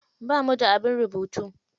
Bamu da abin rubutu.